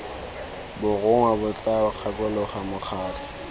borongwa bo tla gakolola mokgatlho